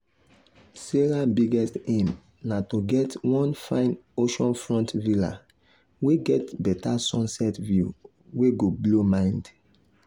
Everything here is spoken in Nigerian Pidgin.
sarah biggest aim na to get one fine oceanfront villa wey get better sunset view wey go blow mind.